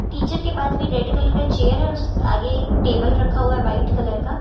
teacher के पास भी रेड कलर का चेयर है और उस आगे एक टेबल रखा हुआ है वाइट कलर का --